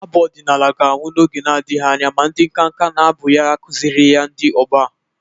Abụ ọdịnala ga-anwụ n'oge nadịghị anya ma ndị nkanka na-abụ ya akụzịrịghị ya ndị ọgbọ a.